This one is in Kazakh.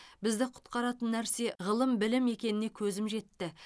бізді құтқаратын нәрсе ғылым білім екеніне көзім жетті